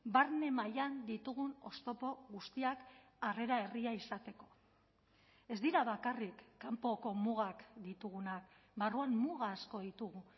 barne mailan ditugun oztopo guztiak harrera herria izateko ez dira bakarrik kanpoko mugak ditugunak barruan muga asko ditugu